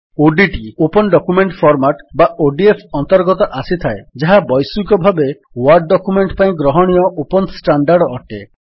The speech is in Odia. ଓଡିଟି ଓପନ୍ ଡକ୍ୟୁମେଣ୍ଟ୍ ଫର୍ମାଟ୍ ବା ଓଡିଏଫ୍ ଅନ୍ତର୍ଗତ ଆସିଥାଏ ଯାହା ବୈଶ୍ୱିକ ଭାବେ ୱର୍ଡ ଡକ୍ୟୁମେଣ୍ଟ୍ ପାଇଁ ଗ୍ରହଣୀୟ ଓପନ୍ ଷ୍ଟାଣ୍ଡାର୍ଡ ଅଟେ